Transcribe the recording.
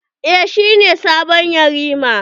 Eh, shi ne sabon yarima.